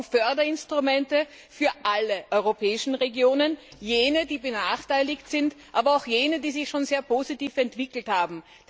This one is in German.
Wir brauchen Förderinstrumente für alle europäischen Regionen, für jene, die benachteiligt sind, aber auch für jene, die sich schon sehr positiv entwickelt haben.